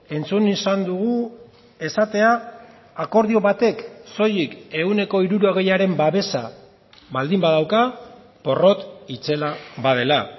entzun izan dugu esatea akordio batek soilik ehuneko hirurogeiaren babesa baldin badauka porrot itzela badela